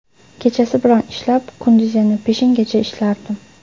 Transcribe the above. Kechasi bilan ishlab, kunduzi yana peshingacha ishlardim.